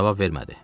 Cavab vermədi.